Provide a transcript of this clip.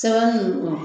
Sɛbɛn ninnu